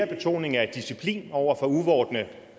betoning af disciplin over for uvorne